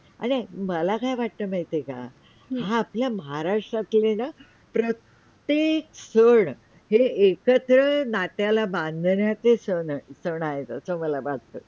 आणि मला काय वाटतं आहे माहितीये का हा आपल्या महाराष्ट्रातील आहे न प्रत्येक सन हे एकत्र नात्याला बांधण्याचे सन आहेत असे मला वाटतं